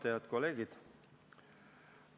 Head kolleegid!